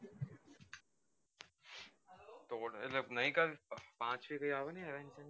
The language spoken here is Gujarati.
પાચ છે કઈ આવે ને નવી